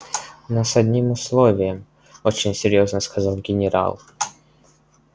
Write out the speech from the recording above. но с одним условием очень серьёзно сказал генерал